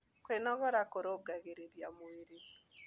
Kwĩnogora kũrũngagĩrĩrĩa mwĩrĩ